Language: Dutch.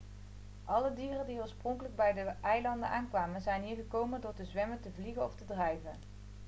alle dieren die oorspronkelijk bij de eilanden aankwamen zijn hier gekomen door te zwemmen te vliegen of te drijven